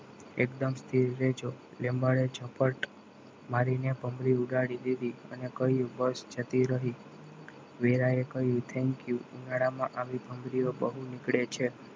એકદમ સ્થિર રહેજો લીમ્બા રે ઝપટ મારીને ભમરી ઉડાડી દીધી અને કહ્યું બસ જતી રહી વેરાઈ કહ્યું thank you ઉનાળામાં આવી ભમરીઓ બહુ નીકળે છે.